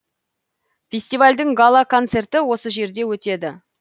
фестивальдің гала концерті осы жерде өтеді